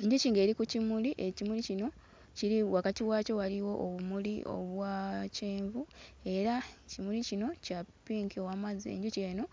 Enjuki ng'eri ku kimuli, ekimuli kino kiri wakati waakyo waliwo obumuli obwa kyenvu era kimuli kino kya ppinki ow'amazzi. Enjuki eno